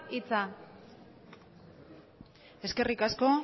hitza eskerrik asko